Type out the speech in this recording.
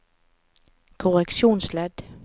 korreksjonsledd